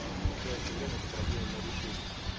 в настоящее время эту проблему мы решили